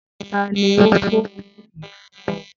Ta ni ó ko ògùn yìí fún o?